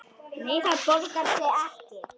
Nei, það borgar sig ekki.